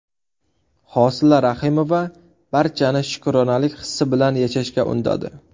Hosila Rahimova barchani shukronalik hissi bilan yashashga undadi.